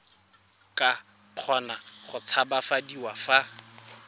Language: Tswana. ka kgona go tshabafadiwa fa